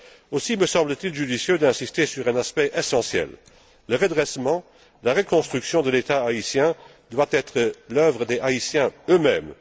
Aussi me semble t il judicieux d'insister sur un aspect essentiel le redressement, la reconstruction de l'État haïtien doit être l'œuvre des Haïtiens eux mêmes.